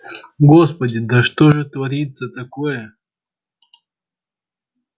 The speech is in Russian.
господи да что же творится такое